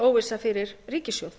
óvissa fyrir ríkissjóð